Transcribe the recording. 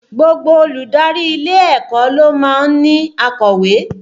Gbogbo olùdarí ilé ẹ̀kọ́ ló máa ń ní akọ̀wé